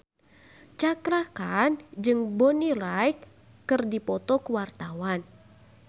Cakra Khan jeung Bonnie Wright keur dipoto ku wartawan